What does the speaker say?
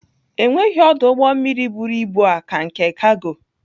Enweghị ọdụ ụgbọ mmiri buru ibu aa ka nke kago.